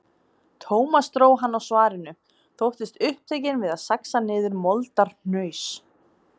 Thomas dró hann á svarinu, þóttist upptekinn við að saxa niður moldarhnaus.